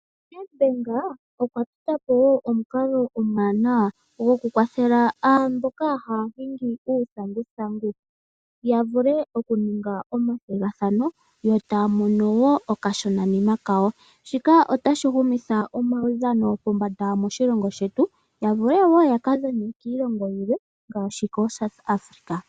NedBank okwa tota po omukalo omwaanawa gokukwathela mboka ya haya okuhinga uuthanguthangu. Ya vule okuninga omathigathano yo taya mono wo okashonanima kawo. Shika otashi humitha omaudhano pombanda moshilongo shetu. Ya vule wo yaka dhane kiilongo yilwe ngaashi koSouth Africa.